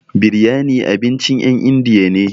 Biryani abincin ƴen indiya ne.